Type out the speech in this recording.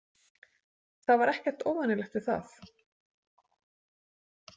Það var ekkert óvenjulegt við það.